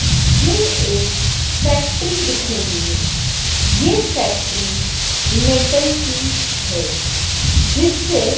ये एक फैक्ट्री दिख रही है। ये फैक्ट्री मेटल की है जिससे --